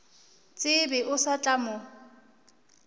tsebe o sa tla mo